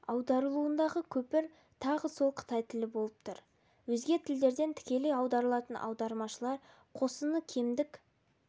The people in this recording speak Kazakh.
аударылуындағы көпір тағы сол қытай тілі болып тұр өзге тілдерден тікелей аударатын аудармашылар қосыны кемдік